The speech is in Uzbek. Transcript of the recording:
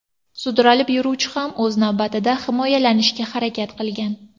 Sudralib yuruvchi ham o‘z navbatida himoyalanishga harakat qilgan.